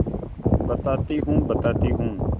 बताती हूँ बताती हूँ